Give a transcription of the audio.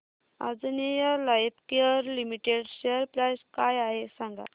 Anjaneya Lifecare limited share price काय आहे सांगा